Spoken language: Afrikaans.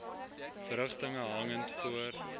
verrigtinge hangend voor